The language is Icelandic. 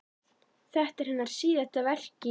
Þetta er hennar síðasta verk í